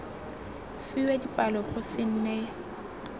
fiwa dipalo go se nne